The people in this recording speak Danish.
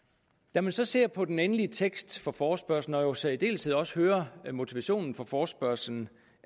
når man så ser på den endelige tekst for forespørgslen og i særdeleshed også hører motivationen for forespørgslen